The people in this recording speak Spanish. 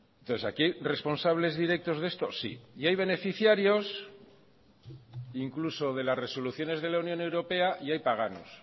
entonces aquí hay responsables directos de eso sí y hay beneficiarios incluso de las resoluciones de la unión europea y hay paganos